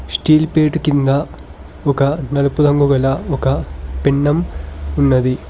Steel పేట్ కింద ఒక నడుపు రంగు గల ఒక పిండం ఉన్నది.